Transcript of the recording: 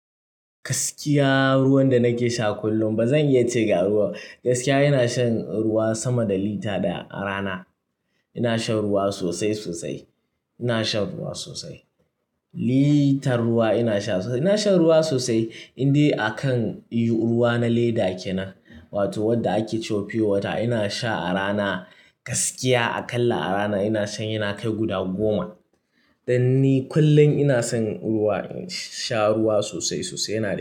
Gaskiya, ruwan da nake sha kullum ba zan iya ce ga ruwa. Gaskiya ina shan ruwa sama da lita ɗaya a rana. Ina shan ruwa sosai sosai. Ina shan ruwa sosai. Litar ruwa ina sha, Ina shan ruwa sosai, indai akan ruwa na leda kenan, wato wadda ake cewa pure water ina sha a rana gaskiya aƙalla a rana ina shan yana kai guda goma. Dan ni kullum ina son ruwa, ina sha ruwa sosai sosai yana da.